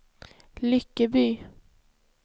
Lyckeby